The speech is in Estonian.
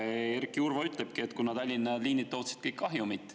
Erki Urva ütleski, et Tallinna liinid tootsid kõik kahjumit.